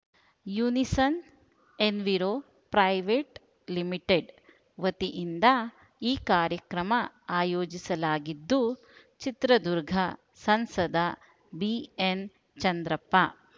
unison Enviro private limited ವತಿಯಿಂದ ಈ ಕಾರ್ಯಕ್ರಮ ಆಯೋಜಿಸಲಾಗಿದ್ದು ಚಿತ್ರದುರ್ಗ ಸಂಸದ ಬಿಎನ್‌ ಚಂದ್ರಪ್ಪ